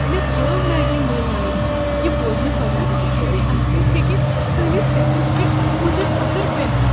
مےٚ ترٲو میگی مٔلۍ انٕنۍ یہ بوزنہٕ پتہٕ ز امہ سۭتۍ ہیٚکہ سٲنس صحتس پیٹھ مضر اثر پیتھ۔